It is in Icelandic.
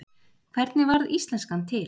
Hvernig varð íslenskan til?